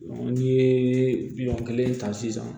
n'i ye miliyɔn kelen ta sisan